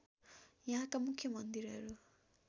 यहाँका मुख्य मन्दिरहरू